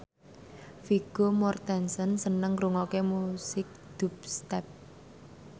Vigo Mortensen seneng ngrungokne musik dubstep